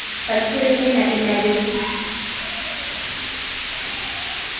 pampiri ena e na le